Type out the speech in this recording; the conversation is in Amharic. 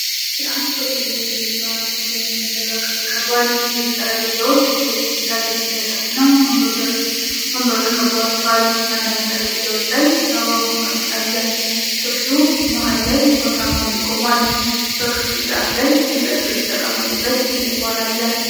የአንድ ሆቴል ወይም ረስቶራንት ሰፊ የመመገቢያ ክፍል ቀርቧል። ብዙ ጠረጴዛዎች በቢጫ ልብሶች ተሸፍነው ወንበሮች ከበዋቸዋል። አንዳንድ ጠረጴዛዎች ላይ የአበባ ማስቀመጫ አለ። ክፍሉ መሀል ላይ ወፍራም አምድ ቆሟል። በክፍሉ ጫፍ ላይ መጠጦች የተቀመጡበት ትልቅ ባር አለ።